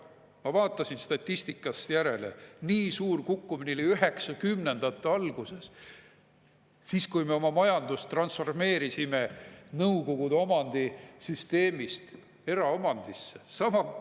" Ma vaatasin statistikast järele, nii suur kukkumine oli üheksakümnendate alguses – siis, kui me oma majandust transformeerisime Nõukogude Liidu omandisüsteemist eraomandisse.